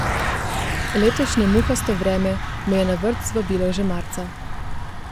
Letošnje muhasto vreme me je na vrt zvabilo že marca.